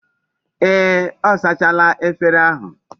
Ee, o sachala efere ahu